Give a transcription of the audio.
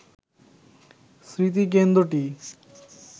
স্মৃতিকেন্দ্রটি